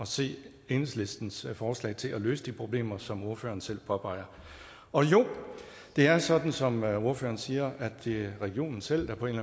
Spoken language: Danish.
se enhedslistens forslag til at løse de problemer som ordføreren selv påpeger og jo det er sådan som ordføreren siger at det er regionen selv der på en